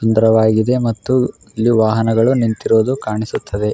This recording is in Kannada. ಸುಂದರವಾಗಿದೆ ಮತ್ತು ಇಲ್ಲಿ ವಾಹನಗಳು ನಿಂತಿರುವುದು ಕಾಣಿಸುತ್ತದೆ .